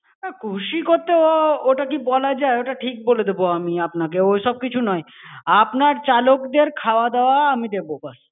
না খুশি করতে ও ওটা কি বলা যায় ওটা ঠিক বলে দেব, আমি আপনাকে! ওইসব কিছু নয়, আপনার চালকদের খাওয়া-দাওয়া আমি দেব ব্যাস।